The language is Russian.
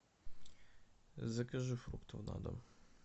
закажи фруктов на дом